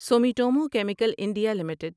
Sumitomo chemical India limited